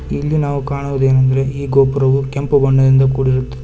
ಇಲ್ಲಿ ನಾವು ಕಾಣುವುದೇನೆಂದರೆ ಈ ಗೋಪುರವು ಕೆಂಪು ಬಣ್ಣದಿಂದ ಕೂಡಿರುತ್ತದೆ ಮತ್--